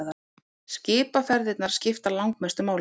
Skipaferðirnar skipta langmestu máli.